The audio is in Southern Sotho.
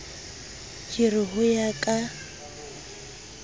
ke re ho ya ka